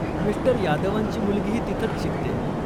मि. यादवांची मुलगीही तिथंच शिकतेय.